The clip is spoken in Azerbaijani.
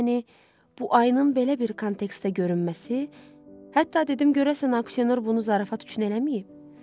Yəni bu ayının belə bir kontekstdə görünməsi, hətta dedim görəsən auksioner bunu zarafat üçün eləyib?